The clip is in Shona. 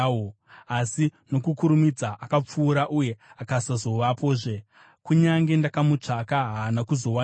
asi nokukurumidza akapfuura uye akasazovapozve; kunyange ndakamutsvaka, haana kuzowanikwa.